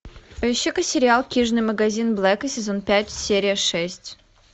поищи ка сериал книжный магазин блэка сезон пять серия шесть